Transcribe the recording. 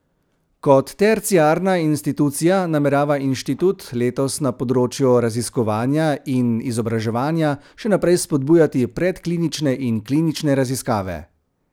Kot terciarna institucija namerava inštitut letos na področju raziskovanja in izobraževanja še naprej spodbujati predklinične in klinične raziskave.